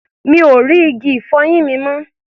Mi ò rí igi-ìfọyín mi mọ́.